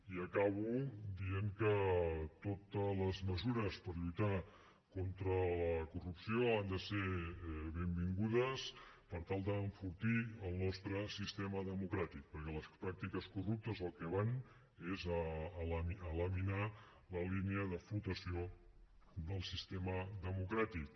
i acabo dient que totes les mesures per lluitar contra la corrupció han de ser benvingudes per tal d’enfortir el nostre sistema democràtic perquè les pràctiques corruptes al que van és a laminar la línia de flotació del sistema democràtic